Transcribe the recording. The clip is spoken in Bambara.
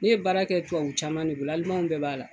Ne ye baara kɛ tubabu caman de bolo Alimanw bɛɛ b'a la